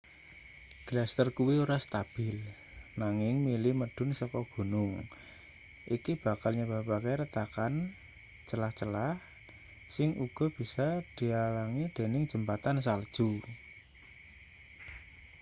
gletser kuwi ora stabil nanging mili medhun saka gunung iki bakal nyebabke retakan celah-celah sing uga bisa dialangi dening jembatan salju